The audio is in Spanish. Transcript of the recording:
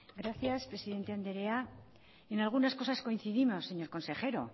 gracias presidente andrea en algunas cosas coincidimos señor consejero